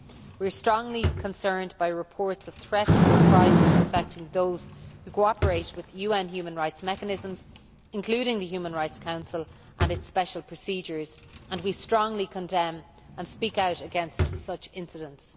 We are strongly concerned by reports of threats and reprisals affecting those who cooperate with UN human rights mechanisms, including the Human Rights Council and its Special Procedures, and we strongly condemn and speak out against such incidents.